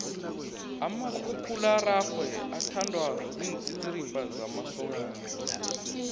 umakhakhulararwe uthandwa ziintsitsirimba zamasokana